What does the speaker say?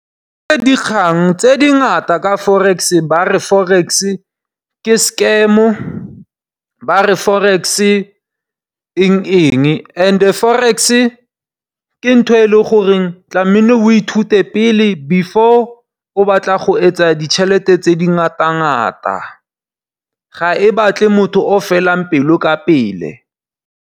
Ee dikgang tse dingata ka Forex, ba re Forex ke scam ba re Forex eng-eng, and Forex ke ntho e leng gore tlamile o ithute pele, before o batla go etsa ditšhelete tse di ngata-ngata. Ga e batle motho o felang pelo ka pele.